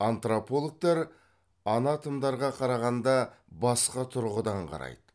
антропологтар анатомдарға қарағанда басқа тұрғыдан қарайды